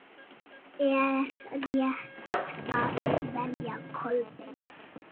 Er rétt að velja Kolbein?